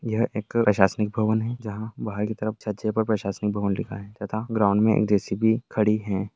यह एक प्रशासनिक भवन है जहां बाहर की तरफ छज्जे पर प्रशासनिक भवन लिखा है तथा ग्राउन्ड मे जे.सी.बी. खड़ी है।